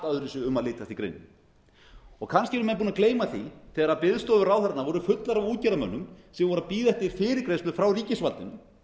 öðruvísi um að lítast í greininni kannski eru menn búnir að gleyma því þegar biðstofur ráðherranna voru fullar af útgerðarmönnum sem voru að bíða eftir fyrirgreiðslu frá ríkisvaldinu